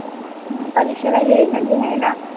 मग परीक्षेला येईल ना लिहायला